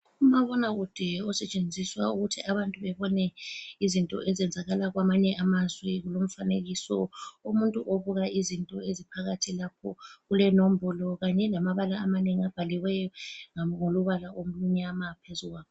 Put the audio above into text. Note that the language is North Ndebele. Umabonakude osetshenziswa ukuthi abantu bebone izinto ezenzakala kwamanye amazwe. Kulomfanekiso omuntu obuka izinto eziphakathi lapho. Kulenombolo kanye lamabala amanengi abhaliweyo ngombala omnyama phezu kwawo.